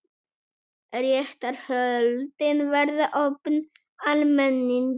Réttarhöldin verða opin almenningi